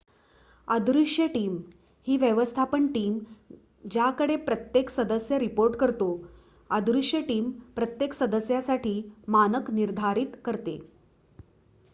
अदृश्य टीम ही व्यवस्थापन टीम ज्याकडे प्रत्येक सदस्य रिपोर्ट करतो अदृश्य टीम प्रत्येक सदस्यासाठी मानक निर्धारित करते